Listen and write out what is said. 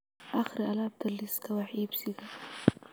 akhri alaabta liiska wax iibsiga